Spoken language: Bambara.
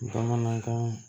Bamanankan